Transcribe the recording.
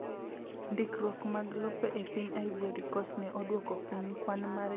Ndikruok mag lope e piny Ivory Coast ne oduoko piny kwan mar jogo mane kawo lope mag oganda.